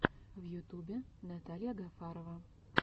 в ютубе наталья гафарова